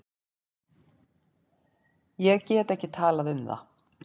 Ég get ekki talað um það.